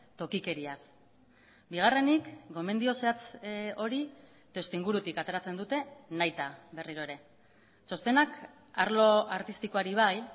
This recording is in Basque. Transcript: tokikeriaz bigarrenik gomendio zehatz hori testuingurutik ateratzen dute nahita berriro ere txostenak arlo artistikoari bai